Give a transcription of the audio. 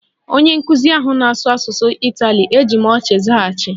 Onye nkụzi ahụ na-asụ asụsụ Itali, eji m ọchị zaghachi